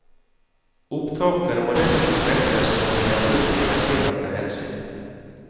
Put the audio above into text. Opptakene må dessuten slettes når de er brukt i den tillatte hensikt.